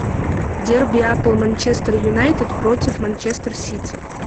дерби апл манчестер юнайтед против манчестер сити